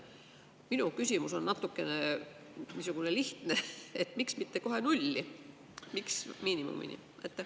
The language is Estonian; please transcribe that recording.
Minu küsimus on niisugune lihtne: miks mitte kohe nulli, miks miinimumini?